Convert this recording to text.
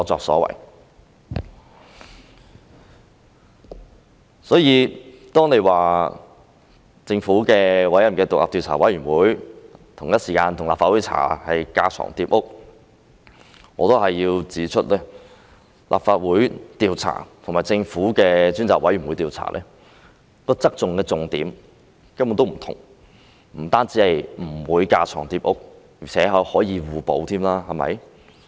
所以，如果說政府委任的獨立調查委員會與立法會同時進行調查是架床疊屋，我要指出，立法會與政府的獨立調查委員會調查的側重點根本不同，不單不會架床疊屋，而且可以互補。